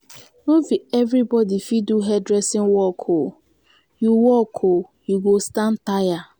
no be everybodi fit do hair-dressing work o you work o you go stand tire.